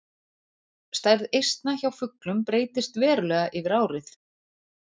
Stærð eistna hjá fuglum breytist verulega yfir árið.